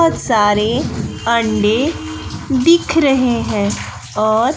बहुत सारे अंडे दिख रहे हैं और--